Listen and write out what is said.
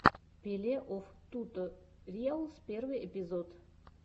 пилеофтуториалс первый эпизод